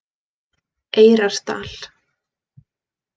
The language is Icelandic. Eyrardal